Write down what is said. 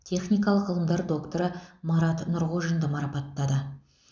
техникалық ғылымдар докторы марат нұрғожинді марапаттады